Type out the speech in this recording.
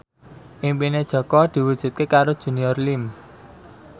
impine Jaka diwujudke karo Junior Liem